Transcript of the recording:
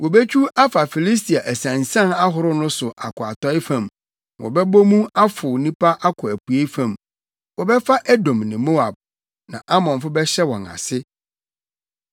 Wobetwiw afa Filistia asiansian ahorow no so akɔ atɔe fam; na wɔbɛbɔ mu afow nnipa akɔ apuei fam. Wɔbɛfa Edom ne Moab, na Amonfo bɛhyɛ wɔn ase.